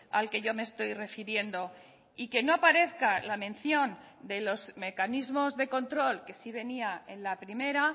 al que yo me estoy refiriendo y que no aparezca la mención de los mecanismos de control que sí venía en la primera